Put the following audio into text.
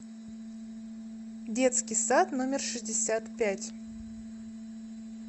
детский сад номер шестьдесят пять